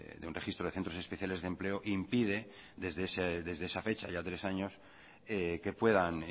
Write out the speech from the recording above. de un registro de centros especiales de empleo impide desde esa fecha ya tres años que puedan